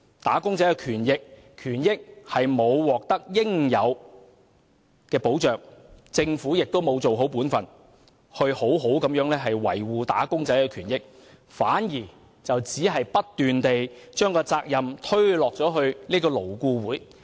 "打工仔"的權益並未獲得應有的保障，政府亦沒有做好本分，好好維護"打工仔"的權益，反而不斷把責任推卸給勞顧會。